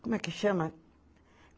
Como é que chama?